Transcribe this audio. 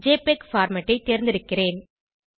JPEG format ஐ தேர்ந்தெடுக்கிறேன்